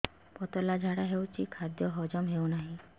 ପତଳା ଝାଡା ହେଉଛି ଖାଦ୍ୟ ହଜମ ହେଉନାହିଁ